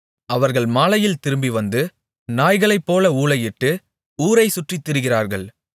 அவர்கள் மாலையில் திரும்பிவந்து நாய்களைப்போல ஊளையிட்டு ஊரைச்சுற்றித் திரிகிறார்கள்